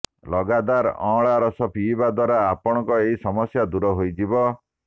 ଲାଗାତାର ଅଅଁଳା ରସ ପିଇବା ଦ୍ୱାରା ଆପଣଙ୍କର ଏହି ସମସ୍ୟା ଦୂର ହୋଇଯିବ